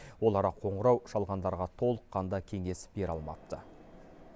олар қоңырау шалғандарға толыққанды кеңес бере алмапты